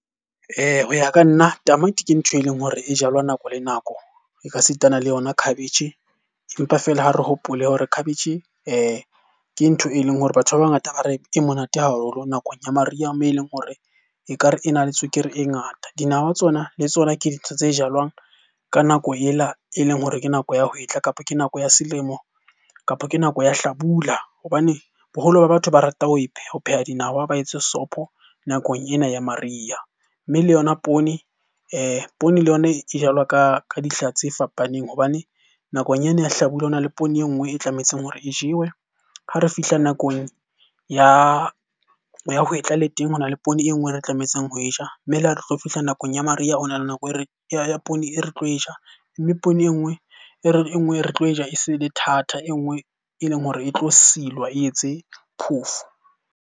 Ho ya ka nna, tamati ke ntho e leng hore e jalwa nako le nako. E ka sitana le yona khabetjhe, empa feela ha re hopole hore khabetjhe ke ntho e leng hore batho ba bangata ba re e monate haholo nakong ya mariha moo e leng hore ekare e na le tswekere e ngata. Dinawa tsona le tsona ke dintho tse jalwang ka nako ela e leng hore ke nako ya hwetla, kapa ke nako ya selemo, kapa ke nako ya hlabula. Hobane boholo ba batho ba rata ho pheha dinawa ba etse sopho nakong ena ya mariha. Mme le yona poone poone le yona e jalwa ka dihla tse fapaneng hobane nakong ya hlabula ho na le poone e nngwe e tlametseng hore e jewe. Ha re fihla nakong ya hwetla le teng hona le poone e nngwe e re tlametseng ho e ja, mme le ha re tlo fihla nakong ya mariha ho na le ya poone e re tlo e ja. Mme poone enngwe, e re enngwe e re tlo e ja e se e le thata. E nngwe e leng hore e tlo silwa e etse phoofo.